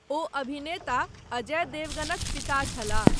ओ अभिनेता अजय देवगनक पिता छलाह।